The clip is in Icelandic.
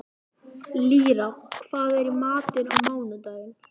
Lýra, hvað er í matinn á mánudaginn?